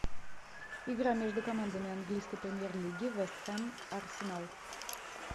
игра между командами английской премьер лиги вест хэм арсенал